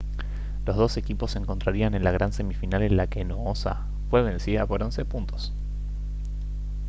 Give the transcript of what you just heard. los dos equipos se encontrarían en la gran semifinal en la que noosa fue vencida por 11 puntos